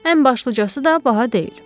Ən başlıcası da baha deyil.